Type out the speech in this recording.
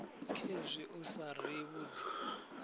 khezwi u sa ri vhudzi